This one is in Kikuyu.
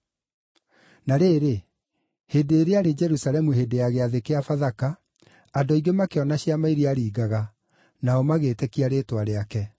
Na rĩrĩ, hĩndĩ ĩrĩa aarĩ Jerusalemu hĩndĩ ya Gĩathĩ kĩa Bathaka, andũ aingĩ makĩona ciama iria aaringaga, nao magĩĩtĩkia rĩĩtwa rĩake.